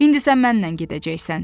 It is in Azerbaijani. İndi sən mənlə gedəcəksən.